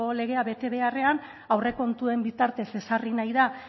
legea bete beharrean aurrekontuen bitartez ezarri nahi da